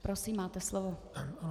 Prosím, máte slovo.